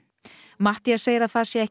Matthías segir að það sé ekki